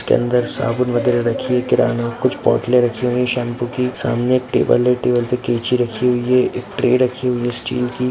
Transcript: इसके अंदर साबुन वगैरा रखी है किराना कुछ बोतले रखी हुई हैं शैम्पू की सामने एक टेबुल है टेबल पे कैंची रखी हुई है एक ट्रे रखी हुई है स्टील की।